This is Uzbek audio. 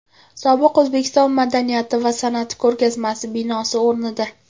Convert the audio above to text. Sobiq O‘zbekiston madaniyati va san’ati ko‘rgazmasi binosi o‘rnida.